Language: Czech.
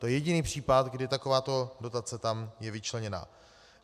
To je jediný případ, kdy takováto dotace tam je vyčleněna.